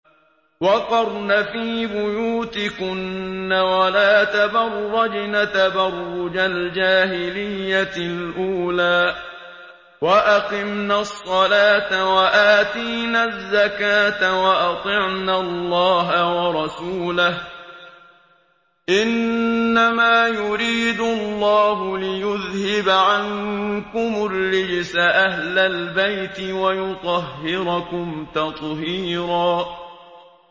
وَقَرْنَ فِي بُيُوتِكُنَّ وَلَا تَبَرَّجْنَ تَبَرُّجَ الْجَاهِلِيَّةِ الْأُولَىٰ ۖ وَأَقِمْنَ الصَّلَاةَ وَآتِينَ الزَّكَاةَ وَأَطِعْنَ اللَّهَ وَرَسُولَهُ ۚ إِنَّمَا يُرِيدُ اللَّهُ لِيُذْهِبَ عَنكُمُ الرِّجْسَ أَهْلَ الْبَيْتِ وَيُطَهِّرَكُمْ تَطْهِيرًا